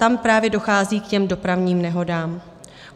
Tam právě dochází k těm dopravním nehodám.